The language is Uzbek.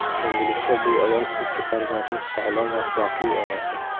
Endilikda bu ayol ikki farzandning sog‘lom va baxtli onasi.